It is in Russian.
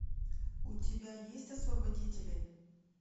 у тебя есть освободители